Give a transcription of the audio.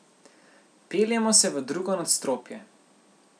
Peljemo se v drugo nadstropje.